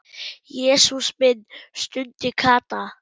Jesús minn stundi Kata.